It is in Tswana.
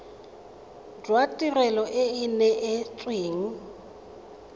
jwa tirelo e e neetsweng